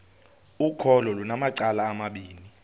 ukholo lunamacala amabini